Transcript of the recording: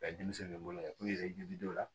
denmisɛnw n'u ye k'u yɛrɛ dilaw la